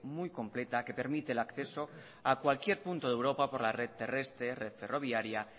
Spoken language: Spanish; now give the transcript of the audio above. muy completa que permite el acceso a cualquier punto de europa por la red terrestre red ferroviaria